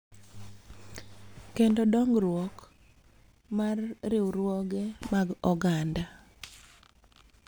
Kendo dongruok mar riwruoge mag oganda.